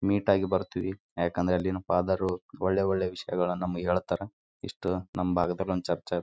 Shirt ಅನ್ನು ಹಾಕಿಕೊಂಡು ನಿಂತಿದ್ದಾನೆ ಇಲ್ಲಿ ಒಬ್ಬ ಮಹಿಳೆ ಕೆಂಪು ಬಣ್ಣದ ಸೀರೆಯನ್ನು ಹಾಕಿಕೊಂಡಿದ್ದಾಳೆ ಇಲ್ಲಿ ಒಬ್ಬ ಮಹಿಳೆ ಹೂವನ್ನು ಹಾಕಿಕೊಂಡಿದ್ದಾಳೆ.